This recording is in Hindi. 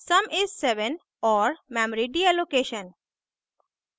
sum is 7 और memory deallocation